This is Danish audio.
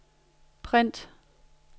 print